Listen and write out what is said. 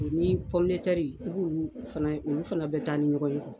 Ni pɔmoitɛri olu fana bɛ taa ni ɲɔgɔn ye